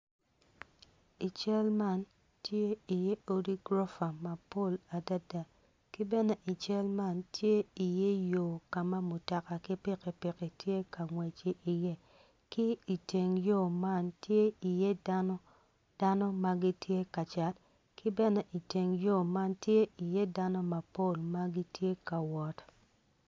I cal man tye iye odi gurofa mapol adada ki bene i cal man tye iye yo ka ma mutoka ki pikipiki tye ka ngwec iye ki iteng yo man tye dano ma gitye ka cat ki bene iteng yo man tye iye dano mapol ma gitye ka wot.